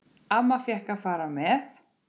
Amma fékk að fara með.